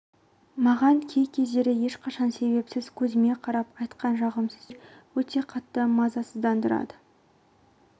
маған кей кездері ешқандай себепсіз көзіме қарап айтқан жағымсыз сөздер өте қатты мазасыздандырады